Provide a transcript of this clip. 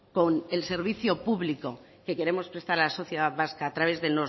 que ver con el servicio público que queremos prestar a la sociedad vasca a través de